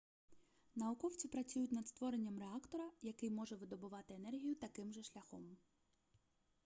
науковці працюють над створенням реактора який може видобувати енергію таким же шляхом